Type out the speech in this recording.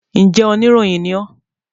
Njẹ oníròyìn ní ọ́?